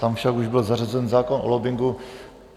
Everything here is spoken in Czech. Tam však už byl zařazen zákon o lobbingu.